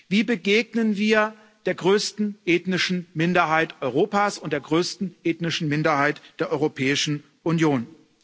Wie begegnen wir der größten ethnischen Minderheit Europas und der größten ethnischen Minderheit der Europäischen Union?